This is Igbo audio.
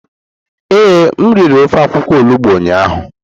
Ee, m riri ofe akwukwo olugbo ụnyahụ.